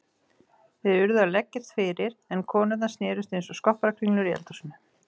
Þeir urðu að leggjast fyrir en konurnar snerust einsog skopparakringlur í eldhúsinu.